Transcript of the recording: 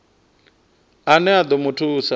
ane a ḓo mu thusa